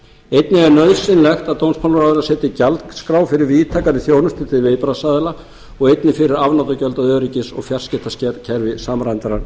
einnig er nauðsynlegt að dómsmálaráðherra setji gjaldskrá fyrir víðtækari þjónustu til viðbragðsaðila og einnig fyrir afnotagjöld af öryggis og fjarskiptakerfi samræmdrar